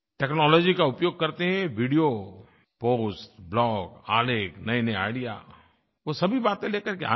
technology का उपयोग करते वीडियो पोस्ट ब्लॉग आलेख नयेनये आईडीईए वो सभी बातें लेकर के आएँ